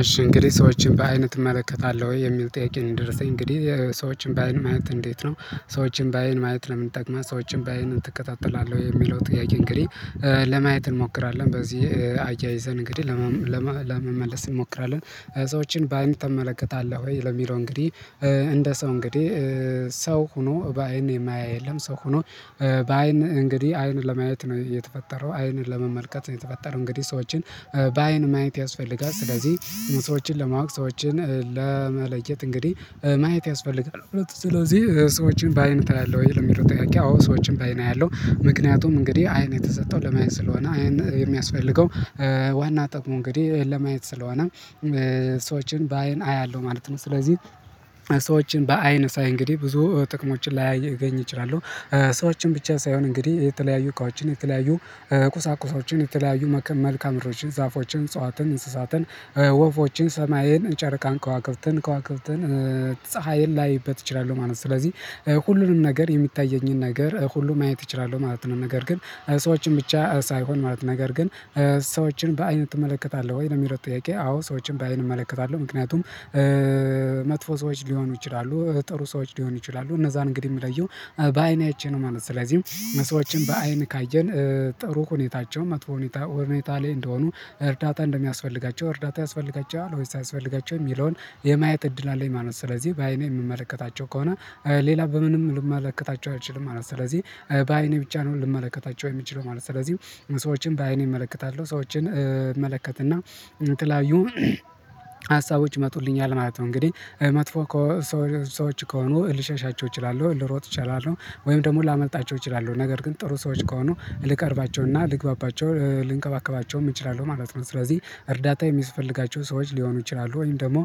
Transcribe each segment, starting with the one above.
እሺ እንግዲህ ሰዎችን በአይን ትመለከታለህ ወይ የሚል ጥያቄ ነው? የደረሰኝ እንግዲህ ሰዎችን በአይን ማየት እንዴት ነው? ሰዎችን በአይን ማየት ለምን ይጠቅማል ሰዎችን በአይን ትከታተላህ ወይ የሚለው ጥያቄ እንግዲህ። ለማየት እንሞክራለን በዚህ አያይዘን እንግዲህ ለመመለስ እንሞክራለን። ሰዎችን በአንድ ትመለከታለህ ወይ ለሚለው እንግዲ እንደ ሰው እንግዲ ሰው ሆኖ በአይን የማያ የለም። ሰው ሆኖ በአይን እንግዲ አይን ለማየት ነው የተፈጠረው አይን ለመመልከት የተፈጠረው እንግዲህ ሰዎችን በአይን ማየት ያስፈልጋል። ስለዚ ሰዎችን ለማወቅ ሰዎችን ለመለየት እንግዲ ማየት ያስፈልጋል። ሁለቱ ስለዚ ሰዎችን በአይን ታያለህ ወይ ለሚለው ጥያቄ? አዎ ሰዎችን በአይን አያለሁ። ምክንያቱም እንግዲህ አይን የተሰጠው ለማየት ስለሆነ አይን የሚያስፈልገው ዋና ጥቅሙ እንግዲህ ለማየት ስለሆነ ሰዎችን በአይን አያለው ማለት ነው። ስለዚህ ሰዎችን በአይን ሳይ እንግዲ ብዙ ጥቅሞችን ላገኝ እችላለው። ሰዎችን ብቻ ሳይሆን እንግዲ የተለያዩ እቃዎችን የተለያዩ ቁሳቁሶችን የተለያዩ መልካምድሮችን ዛፎችን እፅዋትን እንስሳትን ወፎችን ሰማይን ጨረቃን ከዋክብትን ከዋክብትን ፀሀይን ላይበት እችላሉ ማለት ነው። ስለዚ ሁሉንም ነገር የሚታየኝን ነገር ሁሉም ማየት እችላለው ማለት ነው። ነገር ግን ሰዎችን ብቻ ሳይሆን ማለት ነገር ግን ሰዎችን በአይን ትመለከታለ ወይ ለሚለው ጥያቄ? አዎ ሰዎችን በአይን እመለከታለው ምክንያቱም መጥፎ ሰዎች ሊሆኑ ይችላሉ ጥሩ ሰዎች ሊሆኑ ይችላሉ እነዛን እንግዲ ምለየው በአይኔ አይቼ ነው ማለት ነው። ስለዚ ሰዎችን በአይን ካየን ጥሩ ሁኔታቸው መጥፎ ሁኔታ ላይ እንደሆኑ እርዳታ እንደሚያስፈልጋቸው እርዳታ ያስፈልጋቸዋል ወይስ አያስፈልጋቸውም ሚለውን የማየት እድል አለኝ። ማለት ስለዚህ በአይኔ ምመለከታቸው ከሆነ ሌላ በምንም ልመለከታቸው አልችልም ማለት ስለዚ በአይኔ ብቻ ነው ልመለከታቸው የምችለው ማለት ነው። ስለዚ ሰዎችን በአይኔ እመለከታለው ሰዎችን እመለከትና የተለያዩ ሀሳቦች ይመጡልኛል ማለት ነው። እንግዲህ መጥፎ ሰዎች ከሆኑ ልሸሻቸው እችላለው ልሮጥ እችላለው ወይም ደሞ ላመልጣቸው እችላለው ነገር ግን ጥሩ ሰዎች ከሆኑ ልቀርባቸውና ልግባባቸው ምችላሉ ማለት ነው። ስለዚ እርዳታ የሚስፈልጋቸው ሰዎች ሊሆኑ ይችላሉ ወይም ደሞ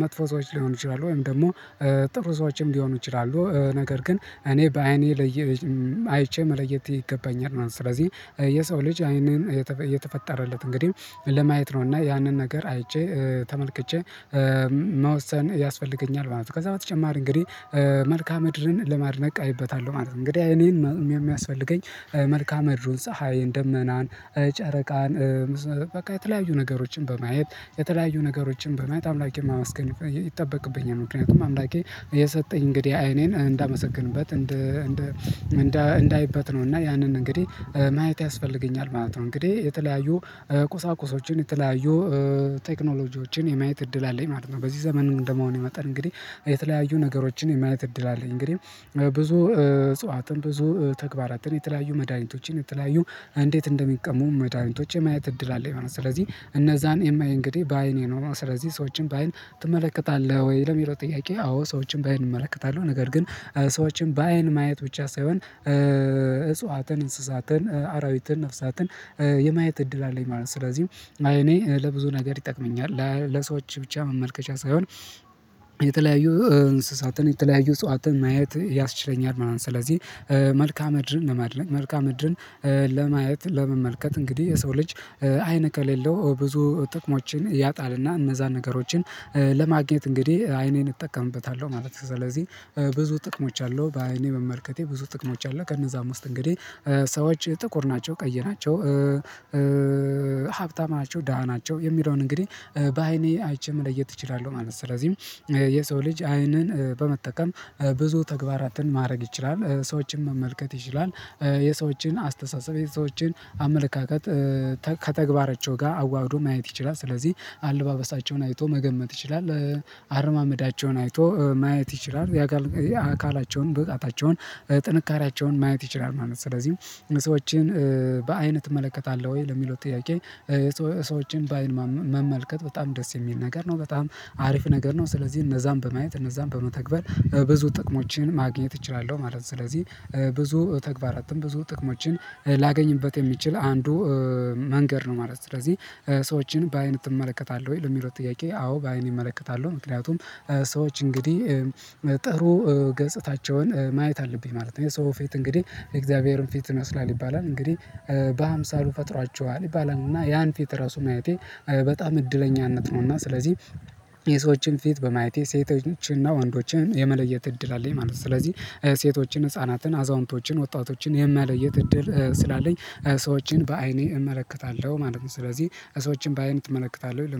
መጥፎ ሰዎች ሊሆኑ ይችላሉ ወይም ደሞ ጥሩ ሰዎችም ሊሆኑ ይችላሉ ነገር ግን እኔ በአይኔ አይቼ መለየት ይገባኛል። ማለት ስለዚ የሰው ልጅ አይንን የተፈጠረለት እንግዲ ለማየት ነው እና ያንን ነገር አይቼ ተመልክቼ መወሰን ያስፈልገኛል ማለት ነው። ከዛ በተጨማሪ እንግዲ መልካምድርን ለማድነቅ አይበታለው ማለት ነው። እንግዲ እይኔን ሚያስፈልገኝ መልካምድሩን ፀሀይን ደመናን ጨረቃን በቃ የተለያዩ ነገሮችን በማየት የተለያዩ ነገሮችን በማየት አምላኬን ማመስገን ይጠበቅብኛል። ምክንያቱም አምላኬ የሰጠኝ እንግዲህ አይኔን እንዳመሰግንበት እንዳይበት ነው እና ያንን እንግዲ ማየት ያስፈልገኛል ማለት ነው። እንግዲ የተለያዩ ቁሳቁሶችን የተለያዩ ቴክኖሎጂዎችን የማየት እድል አለኝ ማለት ነው። በዚህ ዘመን እንደመሆኔ መጠን እንግዲ የተለያዩ ነገሮችን የማየት እድል አለኝ እንግዲ ብዙ እጽዋትን ብዙ ተግባራትን የተለያዩ መድሃኒቶችን የተለያዩ እንዴት እንደሚቀመሙ መድኃኒቶች የማየት እድል አለኝ ማለት ነው። ስለዚ እነዛን የማየው እንግዲ በአይኔ ኖሮ ስለዚ ሰዎችን በአይን ትመለከታለህ ወይ ለሚለው ጥያቄ? አዎ ሰዎችን በአይን እመለከታለው ነገር ግን ሰዎችን በአይን ማየት ብቻ ሳይሆን እጽዋትን እንስሳትን አራዊትን ነፍሳትን የማየት እድል አለኝ ማለት ነው። ስለዚ እኔ ለብዙ ነገር ይጠቅመኛል ለሰዎች ብቻ መመልከቻ ሳይሆን የተለያዩ እንስሳትን የተለያዩ እጽዋትን ማየት ያስችለኛል ማለት ነው። ስለዚ መልካምድርን ለማድነቅ መልካምድርን ለማየት ለመመልከት እንግዲ የሰው ልጅ አይን ከሌለው ብዙ ጥቅሞችን ያጣልና እነዛን ነገሮችን ለማግኘት እንግዲ አይኔን እጠቀምበታለው ማለት ነው። ስለዚህ ብዙ ጥቅሞች አለው በአይኔ መመልከቴ ብዙ ጥቅሞች አለ። ከእነዛም ውስጥ እንግዲ ሰዎች ጥቁር ናቸው ቀይናቸው ሀብታም ናቸው ደሃ ናቸው የሚለውን እንግዲ በአይኔ አይቼ መለየት እችላለው ማለት ነው። ስለዚ የሰው ልጅ አይንን በመጠቀም ብዙ ተግባራትን ማረግ ይችላል ሰዎችን መመልከት ይችላል የሰዎችን አስተሳሰብ የሰዎችን አመለካከት ከተግባራቸው ጋር አዋህዶ ማየት ይችላል ስለዚ አለባበሳቸውን አይቶ መገመት ይችላል አረማመዳቸውን አይቶ ማየት ይችላል ያአካላቸውን ብቃታቸውን ጥንካሬያቸውን ማየት ይችላል ማለት ነው። ስለዚ ሰዎችን በአይን ትመለከታለ ወይ ለሚለው ጥያቄ? ሰዎችን በአይን መመልከት በጣም ደስ የሚል ነገር ነው በጣም አሪፍ ነገር ነው ስለዚ እነዛን በማየት እነዛን በመተግበር ብዙ ጥቅሞችን ማግኘት እችላለው ማለት ነው። ስለዚ ብዙ ተግባራትን ብዙ ጥቅሞችን ላገኝበት የሚችል አንዱ መንገድ ነው ማለት ነው። ስለዚ ሰዎችን በአይን ትመለከታለ ወይ ለሚለው ጥያቄ? አዎ በአይን እመለከታለው ምክንያቱም ሰዎች እንግዲ ጥሩ ገጽታቸውን ማየት አለብኝ ማለት ነው። የሰው ፊት እንግዲ የእግዚአብሔርን ፊት ይመስላል ይባላል እንግዲ በሃምሳሉ ፈጥሯቸዋል ይባላልና ያን ፊት ራሱ ማየቴ በጣም እድለኛነት ነው። እና ስለዚ የሰዎችን ፊት በማየት ሴቶችንና ወንዶችን የመለየት እድል አለኝ ማለት ነው። ስለዚ ሴቶችን ህፃናትን አዛውንቶችን ወጣቶችን የመለየት እድል ስላለኝ ሰዎችን በአይኔ እመለከታለው ማለት ነው። ስለዚ ሰዎችን በአይን ትመለከታለ ወይ